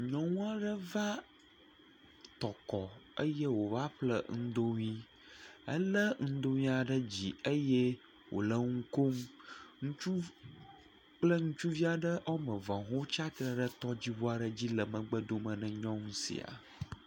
Nyɔnu aɖe va Tɔkɔ eye wòva ƒle ŋdoŋui. Elé ŋudoŋuia ɖe dzi eye wòle ŋu kom. Ŋutsuv kple ŋutsuvi aɖe woame eve hã tsia tre ɖe tɔdziŋu aɖe dzi le megbedome na nyɔnu sia.